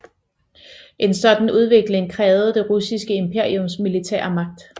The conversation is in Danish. En sådan udvikling krævede det russiske imperiums militære magt